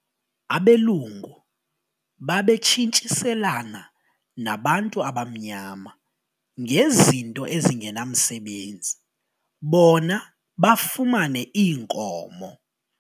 Abelungu babetshintshiselana nabantu abamnyama ngezinto ezingenamsebenzi bona bafumane iinkomo.